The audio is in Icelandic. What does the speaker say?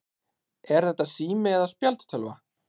Er þetta sími eða spjaldtölva?